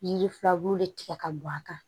Yiri filaburu de tigɛ ka don a kan